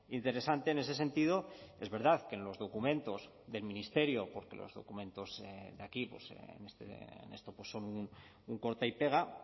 interesante en ese sentido es verdad que en los documentos del ministerio porque los documentos de aquí en esto son un corta y pega